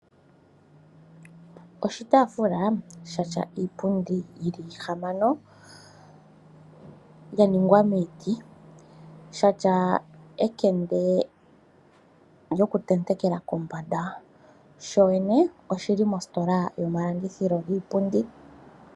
Oshitaafula sha tya iipundi yili ihamano, ya ningwa miiti, sha tya ekende lyo ku tendekela kombanda. Sho yene oshili mositola yomalandithilo giipundi.